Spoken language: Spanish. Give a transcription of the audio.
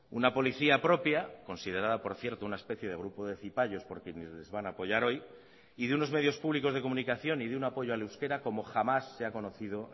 una policía propia considerada por cierto una especie de grupo de zipayos porque ni les van a apoyar hoy y de unos medios públicos de comunicación y de un apoyo al euskera como jamás se ha conocido